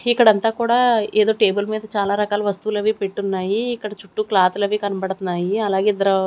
ఇక్కడంతా కూడా ఏదో టేబుల్ మీద చాలా రకాల వస్తువులవి పెట్టున్నాయి ఇక్కడ చుట్టూ క్లాత్తులవి కనబడతన్నాయి అలాగే ఇద్దరు--